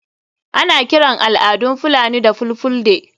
Ana kiran al'adun fulani da ''fulfulde''